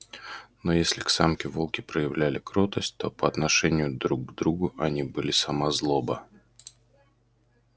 но если к самке волки проявляли кротость то по отношению друг к другу они были сама злоба